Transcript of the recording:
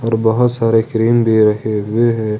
और बहुत सारे क्रीम भी रखे हुए हैं।